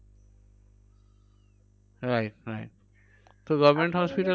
Wright wright তো government hospital এ আপনি নিজে